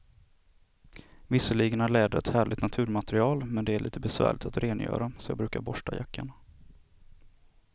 Visserligen är läder ett härligt naturmaterial, men det är lite besvärligt att rengöra, så jag brukar borsta jackan.